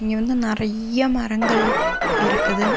இங்க வந்து நறிய்யிய மரங்கள் இருக்குது.